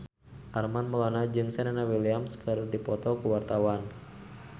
Armand Maulana jeung Serena Williams keur dipoto ku wartawan